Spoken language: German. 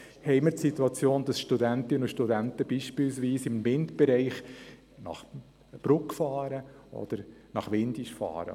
Wir haben die Situation, dass Studentinnen und Studenten beispielsweise im Windbereich nach Brugg oder Windisch fahren.